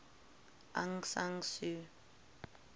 aung san suu